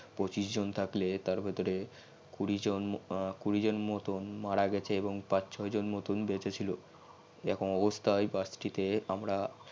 পঁচিশ জন থাকলে তার ভেতরে কুরি জন মতো মারা গিয়েছে এবং গিয়েছে এবং পাচ ছই জন মতো বেচে ছিল এইরকম অবস্থাই বাস িতে আমরা